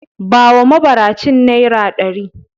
Bawa mabaracin naira ɗari.